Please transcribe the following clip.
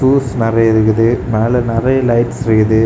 Tools நெறைய இருக்குது மேல நெறைய லைட்ஸ் இருக்குது.